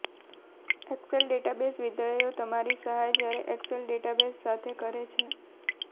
Excel database વિધેયો તમારી સહાય જ્યારે એક્સેલ ડેટાબેઝ સાથે કામ કરે છે